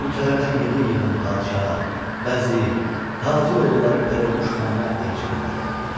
Ölkələrdən yığın-yığın padşah, vəzir, tacir oğulları Pərinüş xanıma elçi göndərirdilər.